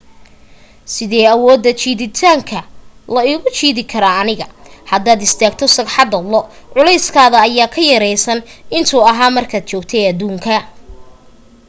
sidey awooda jiiditaanka io igu jiidi kartaa aniga hadaad istaagto sagxadda lo culeyskaada ayaa ka yeraan intuu ahaa markaad joogtay aduunka